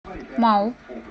мау